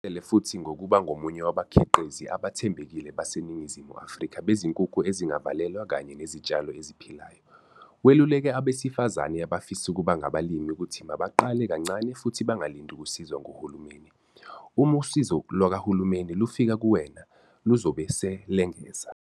Uzimisele futhi ngokuba ngomunye wabakhiqizi abathembekile baseNingizimu Afrika bezinkukhu ezingavalelwa kanye nezitshalo eziphilayo. Weluleke abesifazane abafisa ukuba ngabalimi ukuthi mabaqale kancane futhi bangalindi ukusizwa nguhulumeni. "Uma usizo lukahulumeni lufika kuwena, luzobe selengeza."